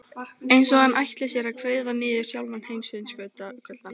Ert þú ekki líka Breiðfirðingur, Hulda mín?